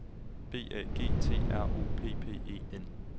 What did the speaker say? B A G T R O P P E N